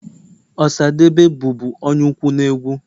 Osadebe bụbu onye ukwu na egwu.